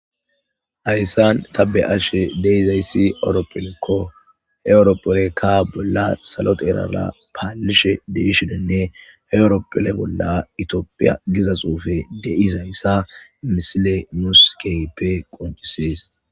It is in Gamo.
Ayssan tabe ashe deizayssi ewroppelekko heewroppolekka bolla salote erara paalishe deishoninne heewroppole bolla itiopiya giza xuufe deizayssa misile muskeype qoncisees